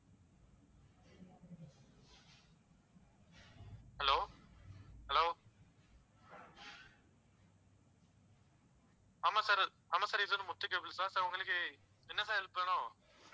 hello, hello ஆமா sir ஆமா sir இது முத்து கேபிள் sir உங்களுக்கு என்ன sir help வேணும்?